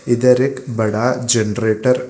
इधर एक बड़ा जनरेटर --